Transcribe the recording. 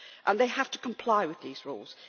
They have to comply with these rules.